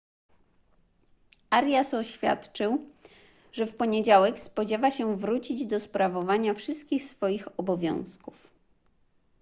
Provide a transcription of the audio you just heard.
arias oświadczył że w poniedziałek spodziewa się wrócić do sprawowania wszystkich swoich obowiązków